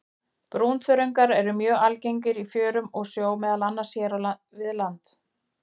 Brúnþörungar eru mjög algengir í fjörum og sjó, meðal annars hér við land.